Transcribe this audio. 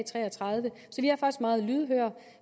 tre og tredive